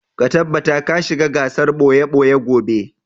Ka tabbata ka shiga gasar ɓoye-ɓoye gobe!